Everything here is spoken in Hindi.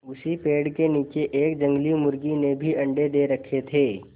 उसी पेड़ के नीचे एक जंगली मुर्गी ने भी अंडे दे रखें थे